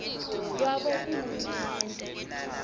lwabohulumende